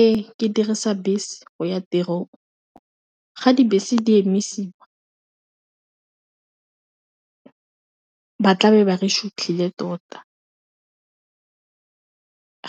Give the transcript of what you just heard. Ee, ke dirisa bese go ya tirong ga dibese di emisiwa ba tla be re sutlhile tota,